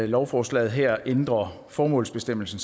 lovforslaget her ændrer formålsbestemmelsen